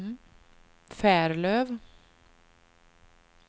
Färlöv